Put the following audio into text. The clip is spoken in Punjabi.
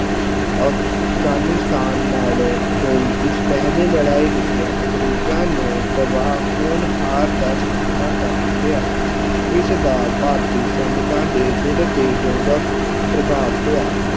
ਅਫਗਾਨੀਸਤਾਨ ਨਾਲ ਹੋਈ ਇਸ ਪਹਿਲੀ ਲੜਾਈ ਵਿੱਚ ਅੰਗਰੇਜ਼ਾਂ ਨੂੰ ਤਬਾਹ ਹੁਣ ਹਾਰ ਦਾ ਸਾਹਮਣਾ ਕਰਨਾ ਪਿਆ ਇਸਦਾ ਭਾਰਤੀ ਸੈਨਿਕਾਂ ਦੇ ਦਿਲ ਤੇ ਡੂੰਘਾ ਪ੍ਰ ਪ੍ਰਭਾਵ ਪਿਆ।